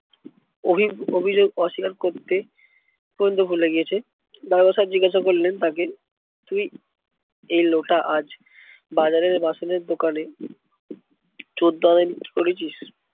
অভি অভিযোগ অস্বীকার করতে পর্যন্ত ভুলে গিয়েছে। দারোগা সাহেব জিজ্ঞাসা করলেন তাকে তুই এই লোটা আজ বাজারের বাসনের দোকানে চোদ্দ আনায় বিক্রি করেছিস?